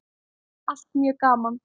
Allt mjög gaman.